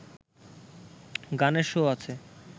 গানের শো আছে